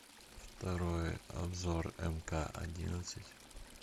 второй обзор мк одиннадцать